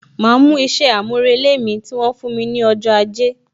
Ma mú isẹ amurele mi, tí wọn fún mi ní ọjọ́ ajé